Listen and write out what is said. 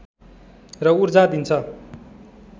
र ऊर्जा दिन्छ